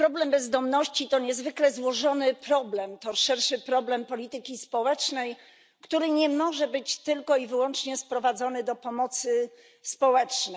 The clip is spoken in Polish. Bezdomność to niezwykle złożony problem, to szerszy problem polityki społecznej, który nie może być sprowadzony tylko i wyłącznie do pomocy społecznej.